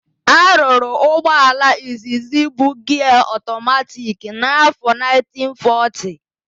A rụrụ ụgbọala izizi bu giaa ọtọmatiki n'áfọ 1940.